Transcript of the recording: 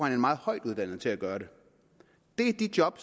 en meget højtuddannet til at gøre det det er de job